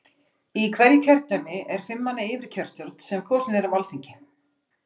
Í hverju kjördæmi er fimm manna yfirkjörstjórn sem kosin er af Alþingi.